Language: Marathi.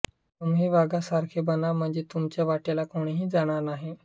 तुम्ही वाघासारखे बना म्हणजे तुमच्या वाट्याला कोणीही जाणार नाही